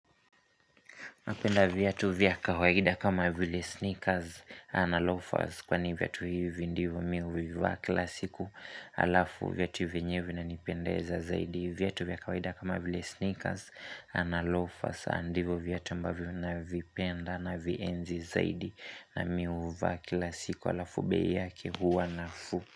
Napenda viatu vya kawaida kama vile sneakers na lofas kwa ni viatu hivi ndivo mi uvivaa kila siku alafu viatu vyenyewe vinanipendeza zaidi viatu vya kawaida kama vile sneakers na lofas ndivyo viatu ambavyo navipenda navienzi zaidi na mi uvaa kila siku alafu bei yake huwa nafuu.